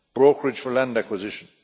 brokerage for land acquisition